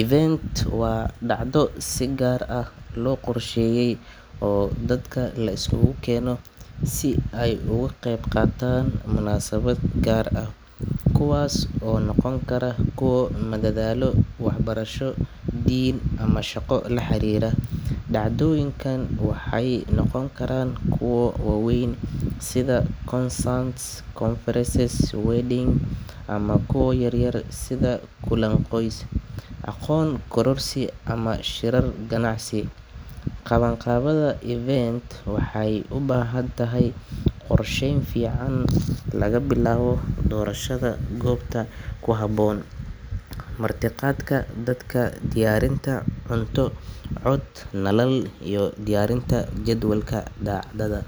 Event waa dhacdo si gaar ah loo qorsheeyay oo dadka la iskugu keeno si ay uga qeyb qaataan munaasabad gaar ah, kuwaas oo noqon kara kuwo madadaalo, waxbarasho, diin, ama shaqo la xiriira. Dhacdooyinka waxay noqon karaan kuwo waaweyn sida concerts, conferences, weddings, ama kuwo yaryar sida kulan qoys, aqoon kororsi ama shirar ganacsi. Qabanqaabada event-ka waxay u baahan tahay qorsheyn fiican, laga bilaabo doorashada goobta ku habboon, martiqaadka dadka, diyaarinta cunto, cod, nalal iyo diyaarinta jadwalka dhacdada.